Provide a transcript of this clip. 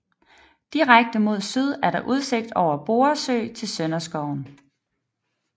Direkte mod syd er der udsigt over Borre Sø til Sønderskoven